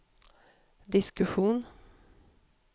diskussion